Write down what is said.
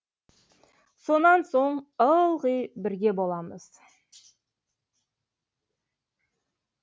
сонан соң ылғи бірге боламыз